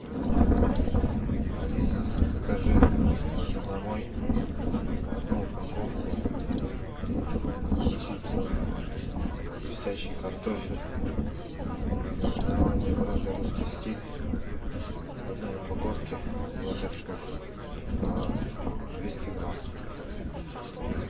алиса закажи ко мне домой одну упаковку чипсов хрустящий картофель наименование бренда русский стиль в одной упаковке двадцать штук по двести грамм